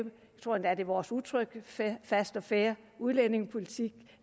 tror endda det er vores udtryk en fast og fair udlændingepolitik